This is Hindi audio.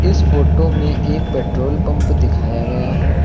इस फोटो में एक पेट्रोल पंप दिखाया गया है।